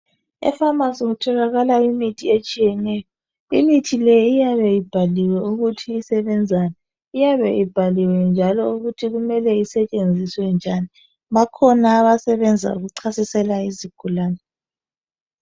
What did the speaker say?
E pharmacy kutholakala imithi etshiyeneyo, imithi le iyabe ibhaliwe ukuthi isebenzani, iyabe ibhaliwe njalo ukuthi imele isetshenziswa njani, bakhona abasebanza ukuchasisela izigulane.